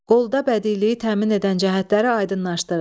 Qolda bədiiliyi təmin edən cəhətləri aydınlaşdırın.